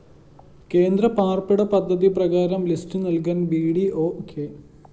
കേന്ദ്രപാര്‍പ്പിട പദ്ധതി പ്രകാരം ലിസ്റ്റ്‌ നല്‍കാന്‍ ബി ഡി ഓ കെ